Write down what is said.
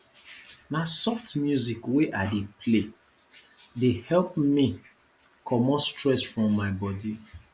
na soft music wey i dey play dey help me comot stress from my bodi